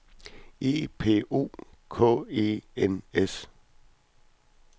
E P O K E N S